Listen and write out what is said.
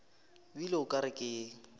bile o ka re ke